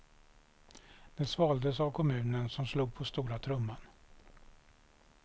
Det svaldes av kommunen som slog på stora trumman.